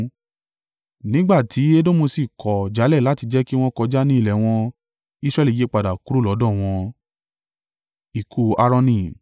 Nígbà tí Edomu sì kọ̀ jálẹ̀ láti jẹ́ kí wọn kọjá ní ilẹ̀ wọn, Israẹli yípadà kúrò lọ́dọ̀ wọn.